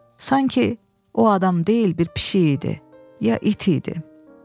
Sanki o adam deyil, bir pişik idi, ya it idi.